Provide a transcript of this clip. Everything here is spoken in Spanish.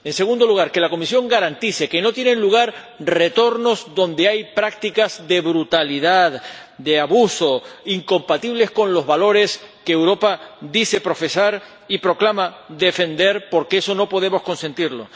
en segundo lugar, que la Comisión garantice que no tienen lugar retornos a lugares donde hay prácticas de brutalidad, de abuso, incompatibles con los valores que Europa dice profesar y proclama defender, porque eso no podemos consentirlo